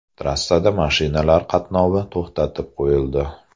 Trassada mashinalar qatnovi to‘xtatib qo‘yildi.